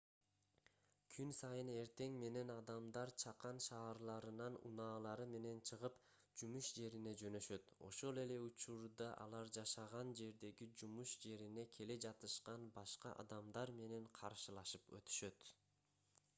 күн сайын эртең менен адамдар чакан шаарларынан унаалары менен чыгып жумуш жерине жөнөшөт ошол эле учурда алар жашаган жердеги жумуш жерине келе жатышкан башка адамдар менен каршылашып өтүшөт